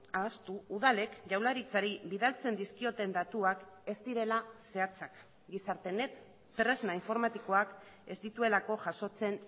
ahaztu udalek jaurlaritzari bidaltzen dizkioten datuak ez direla zehatzak gizartenet tresna informatikoak ez dituelako jasotzen